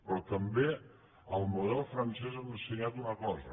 però també el model francès ens ha ensenyat una cosa